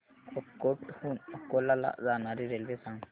अकोट हून अकोला ला जाणारी रेल्वे सांग